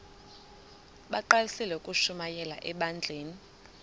bagqalisele ukushumayela ebandleni